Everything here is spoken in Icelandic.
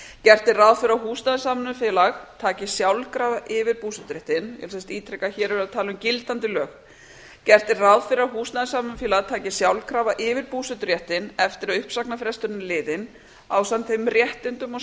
gert er ráð fyrir að húsnæðissamvinnufélag taki sjálfkrafa yfir búseturéttinn og ég ítreka að hér erum við að tala um gildandi lög eftir að uppsagnarfrestur er liðinn ásamt þeim réttindum og